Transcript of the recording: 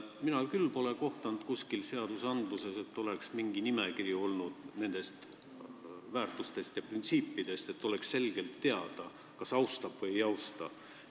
Mina küll pole kohanud kuskil seadustes mingit nimekirja nendest väärtustest ja printsiipidest, et saaks selgust, kas inimene neid austab või ei austa.